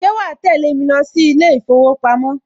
Ṣe wàá tẹ́lẹ̀ mi lọ sí ilé ìfowópamọ́?